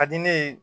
Ka di ne ye